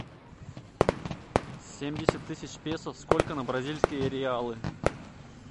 семьдесят тысяч песо сколько на бразильские реалы